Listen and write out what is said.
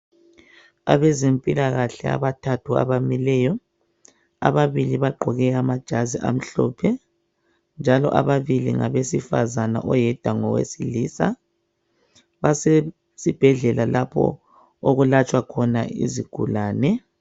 Abezempilakahle abathathu abamileyo ababili bagqoke amajazi njalo ababili ngabesifazana oyedwa ngowesilisa basesibhedlela lapho okulatshwa khona izigulane